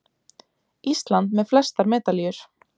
Ísland með flestar medalíur